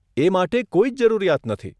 એ માટે કોઈ જ જરૂરિયાત નથી.